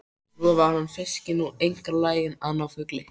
Svo var hann fiskinn og einkar laginn að ná fugli.